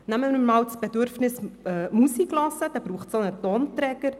Für die Befriedigung des Bedürfnisses Musikhören braucht es einen Tonträger.